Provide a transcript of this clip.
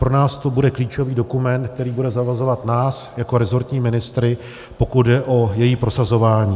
Pro nás to bude klíčový dokument, který bude zavazovat nás jako rezortní ministry, pokud jde o její prosazování.